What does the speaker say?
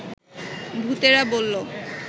ভূতেরা বলল